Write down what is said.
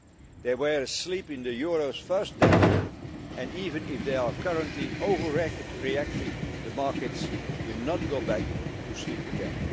equal. They were asleep in the euro's first decade and, even if they are currently overreacting, the markets will not go back to sleep